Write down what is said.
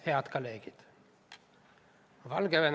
Head kolleegid!